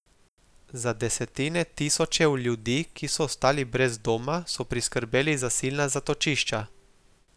Za desetine tisočev ljudi, ki so ostali brez doma, so priskrbeli zasilna zatočišča.